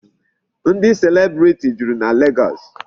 Ndị celebrity juru na Legọọsị.